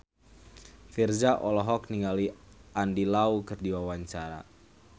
Virzha olohok ningali Andy Lau keur diwawancara